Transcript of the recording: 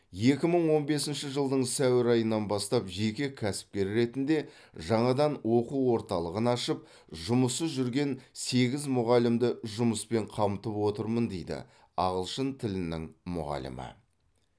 екі мың он бесінші жылдың сәуір айынан бастап жеке кәсіпкер ретінде жаңадан оқу орталығын ашып жұмыссыз жүрген сегіз мұғалімді жұмыспен қамтып отырмын дейді ағылшын тілінің мұғалімі